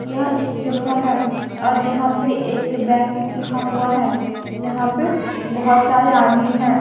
यह एक जगह है और यहां पे एक बैंक लिखा हुआ है यहां पे बहोत सारे आदमी है।